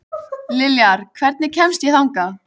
Liljar, hvernig kemst ég þangað?